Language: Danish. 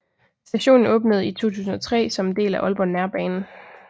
Stationen åbnede i 2003 som en del af Aalborg Nærbane